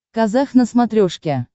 казах на смотрешке